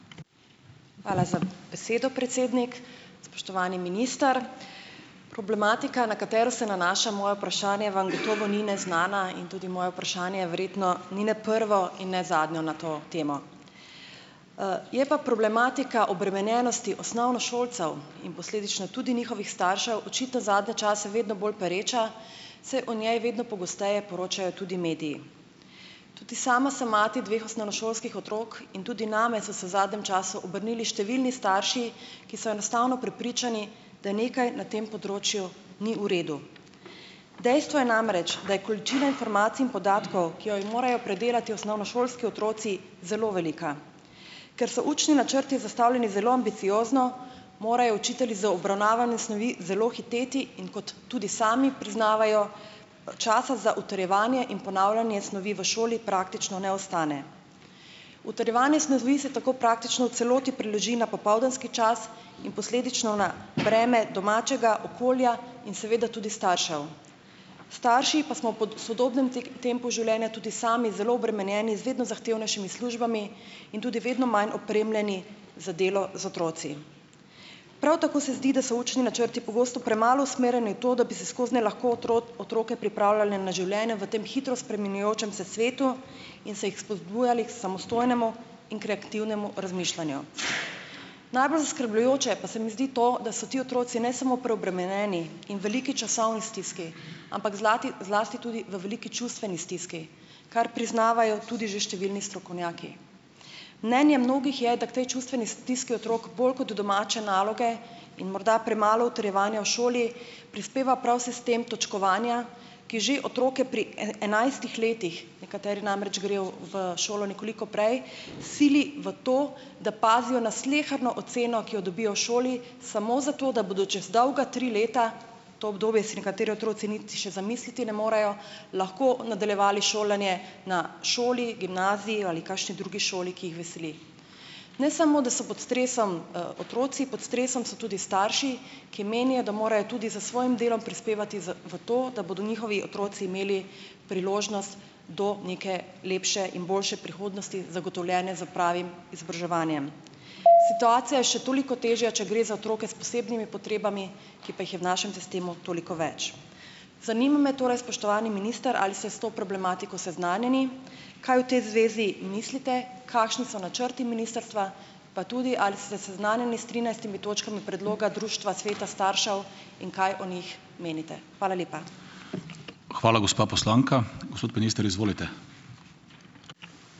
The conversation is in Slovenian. Hvala za besedo, predsednik. Spoštovani minister! Problematika, na katero se nanaša moje vprašanje, vam gotovo ni neznana in tudi moje vprašanje verjetno ni ne prvo in ne zadnjo na to temo. Je pa problematika obremenjenosti osnovnošolcev in posledično tudi njihovih staršev očitno zadnje čase vedno bolj pereča, saj o njej vedno pogosteje poročajo tudi mediji. Tudi sama sem mati dveh osnovnošolskih otrok in tudi name so se v zadnjem času obrnili številni starši, ki so enostavno prepričani, da nekaj na tem področju ni v redu. Dejstvo je namreč, da je količina informacij in podatkov, ki jo je morajo predelati osnovnošolski otroci zelo velika. Ker so učni načrti zastavljeni zelo ambiciozno, morajo učitelji za obravnavane snovi zelo hiteti, in kot tudi sami priznavajo, časa za utrjevanje in ponavljanje snovi v šoli praktično ne ostane. Utrjevanje snovi se tako praktično v celoti preloži na popoldanski čas in posledično na breme domačega okolja in seveda tudi staršev. Starši pa smo pod sodobnim tempu življenja tudi sami zelo obremenjeni z vedno zahtevnejšimi službami in tudi vedno manj opremljeni za delo z otroki. Prav tako se zdi, da so učni načrti pogosto premalo usmerjeni v to, da bi se skoznje lahko otroke pripravljali na življenje v tem hitro spreminjajočem se svetu in se jih spodbujali k samostojnemu in kreativnemu razmišljanju. Najbolj zaskrbljujoče pa se mi zdi to, da so ti otroci ne samo preobremenjeni in v veliki časovni stiski, ampak zlati zlasti tudi v veliki čustveni stiski, kar priznavajo tudi že številni strokovnjaki. Mnenje mnogih je, da k tej čustveni stiski otrok bolj kot domače naloge in morda premalo utrjevanja v šoli prispeva prav sistem točkovanja, ki že otroke pri enajstih letih, nekateri namreč grejo v šolo nekoliko prej, sili v to, da pazijo na sleherno oceno, ki jo dobijo v šoli, samo zato, da bodo čez dolga tri leta, to obdobje si nekateri otroci niti še zamisliti ne morejo, lahko nadaljevali šolanje na šoli, gimnaziji ali kakšni drugi šoli, ki jih veseli. Ne samo, da so pod stresom, otroci, pod stresom so tudi starši, ki menijo, da morajo tudi s svojim delom prispevati z v to, da bodo njihovi otroci imeli priložnost do neke lepše in boljše prihodnosti, zagotovljene s pravim izobraževanjem. Situacija je še toliko težja, če gre za otroke s posebnimi potrebami, ki pa jih je v našem sistemu toliko več. Zanima me torej, spoštovani minister: Ali ste s to problematiko seznanjeni? Kaj v tej zvezi mislite? Kakšni so načrti ministrstva, pa tudi, ali ste seznanjeni s trinajstimi točkami predloga Društva sveta staršev in kaj o njih menite? Hvala lepa.